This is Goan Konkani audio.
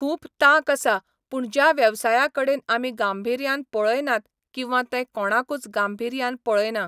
खूब तांक आसा पूण ज्या वेवसाया कडेन आमी गांभिऱ्यान पळयनात किंवा ते कोणूच गांभिऱ्यान पळयना.